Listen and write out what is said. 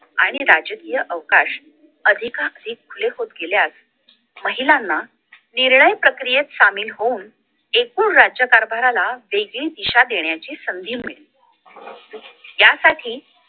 आणि राजकीय अवकाश अधिकाधिक खुले होत गेल्यास महिलांना निर्णय प्रक्रियेत सामील होऊन एकूण राज्यकारभाराला वेगळी दिशा देण्याची संधी मिळेल यासाठी